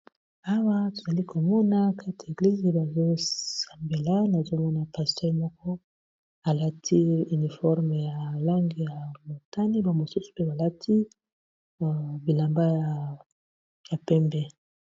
Awa tozali komona kati ya eglize bazosambela nazomona pasteur moko alati uniforme ya langi ya motani ba mosusu mpe balati bilamba ya pembe.